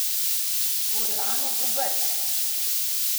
Furlanom v brk.